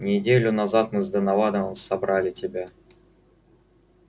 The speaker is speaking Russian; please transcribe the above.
неделю назад мы с донованом собрали тебя